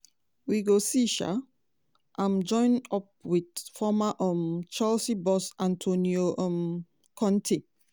wey go see um am join up wit former um chelsea boss antonio um conte.